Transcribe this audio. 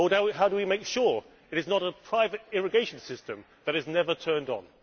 How do we make sure it is not a private irrigation system that is never turned on?